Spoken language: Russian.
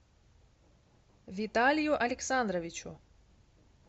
виталию александровичу